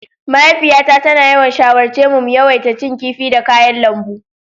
Mahaifiyata tana yawan shawarce mu mu yawaita cin kifi da kayan lambu.